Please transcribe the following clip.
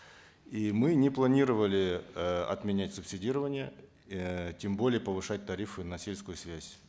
и мы не планировали э отменять субсидирование э тем более повышать тарифы на сельскую связь